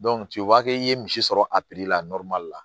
u b'a kɛ i ye misi sɔrɔ a la la